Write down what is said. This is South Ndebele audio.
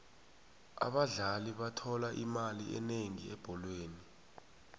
abadlali bathola imali enengi ebholweni